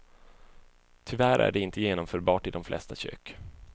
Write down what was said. Tyvärr är det inte genomförbart i de flesta kök.